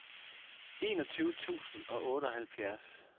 enogtyve tusind og otteoghalvfjerds